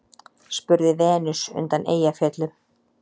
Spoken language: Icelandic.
spurði Venus undan Eyjafjöllum.